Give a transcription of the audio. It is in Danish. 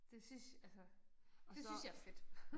Det synes altså det synes jeg er fedt